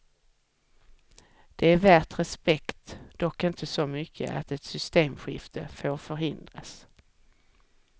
Det är värt respekt, dock inte så mycket att ett systemskifte får förhindras.